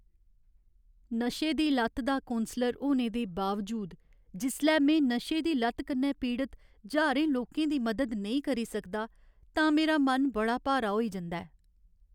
नशे दी लत्त दा कौंसलर होने दे बावजूद, जिसलै में नशें दी लत्त कन्नै पीड़त ज्हारें लोकें दी मदद नेईं करी सकदा तां मेरा मन बड़ा भारा होई जंदा ऐ ।